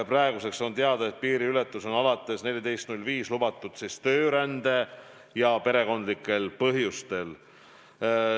Praeguseks on teada, et piiriületus on alates 14. maist lubatud töörändeks ja perekondlikel põhjustel.